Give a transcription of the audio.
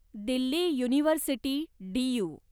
Delhi university, Dew